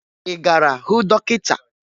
Ị gara hụ dọkịta?